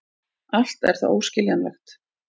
Allt er það óskiljanlegt.